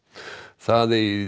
það eigi